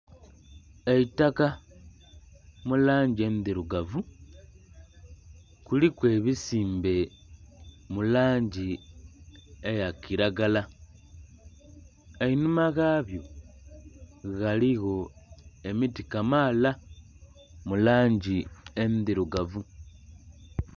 Eitaka mu langi endhirugavu kuliku ebisimbe mu langi eya kilagala. Einhuma ghabyo ghaligho emiti kamaala mu langi endhirugavu.